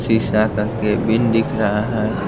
शीशा का कैबिन दिख रहा है।